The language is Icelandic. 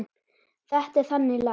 Þetta er þannig lag.